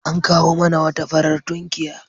An kawo mana wata farar tunkiya.